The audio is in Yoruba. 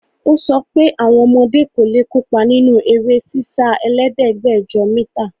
Ó sọpẹ́ àwọn ọmọdé kò lè kópa nínú eré sísá ẹlẹ́ẹ̀dẹ́gbẹ́dẹ̀jọ mítà.